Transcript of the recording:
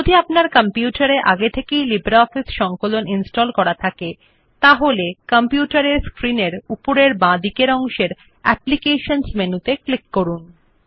যদি আপনার কম্পিউটার এ আগে থেকেই লিব্রিঅফিস সংকলন ইনস্টল করা থাকে তাহলে কম্পিউটার এর স্ক্রিন এর উপরের বাঁদিকের অংশে অ্যাপ্লিকেশনস বিকল্পটি ক্লিক করুন